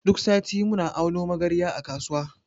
Duk sati muna auno magarya a kasuwa.